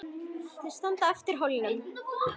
Þau standa aftur á hólnum.